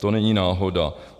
To není náhoda.